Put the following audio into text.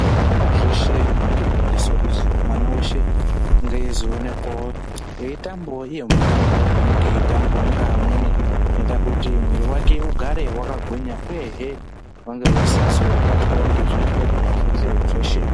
Muzvikora zveshe murikufundiswa kuti mwana weshe ange eizoonekwa eitambawo iyo mitambo inenge yeitambwa ngevamweni. Inoita kuti mwiiri wake ugare wakagwinya uye vange veisazobatwa ngezvirwere zveshe zveshe.